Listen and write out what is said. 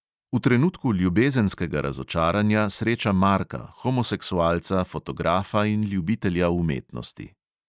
V trenutku ljubezenskega razočaranja sreča marka, homoseksualca, fotografa in ljubitelja umetnosti.